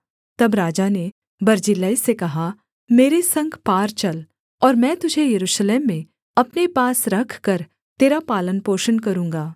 तब राजा ने बर्जिल्लै से कहा मेरे संग पार चल और मैं तुझे यरूशलेम में अपने पास रखकर तेरा पालनपोषण करूँगा